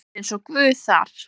Hann er eins og Guð þar.